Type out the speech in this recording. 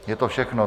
Je to všechno.